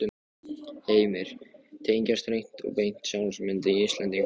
Heimir: Tengjast hreint og beint sjálfsmynd Íslendinga?